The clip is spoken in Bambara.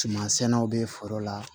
Suman sɛnɛw bɛ foro la